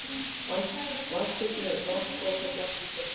Vænst þykir mér um brons og kopar, blanda því stundum saman.